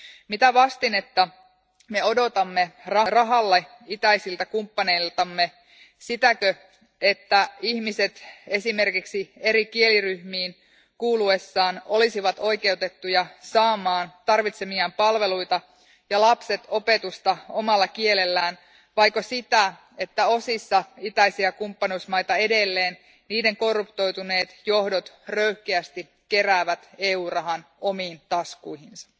Mitä vastinetta me odotamme rahalle itäisiltä kumppaneiltamme sitäkö, että ihmiset esimerkiksi eri kieliryhmiin kuuluessaan olisivat oikeutettuja saamaan tarvitsemiaan palveluita ja lapset opetusta omalla kielellään vaiko sitä, että osissa itäisiä kumppanuusmaita edelleen niiden korruptoituneet johdot röyhkeästi keräävät EU rahan omiin taskuihinsa?